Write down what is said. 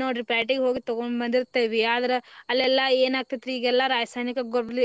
ನೋಡ್ರಿ ಪ್ಯಾಟಿಗ ಹೋಗಿ ತುಗೊಂಡ ಬಂದಿರ್ತೆವಿ ಆದ್ರ ಅಲ್ಲಿ ಎಲ್ಲಾ ಏನ ಆಕೆತ್ರಿ ಈಗೆಲ್ಲಾ ರಾಸಾಯನಿಕ ಗೋಬ್ಲ~.